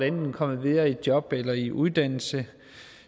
komme videre i job eller i uddannelse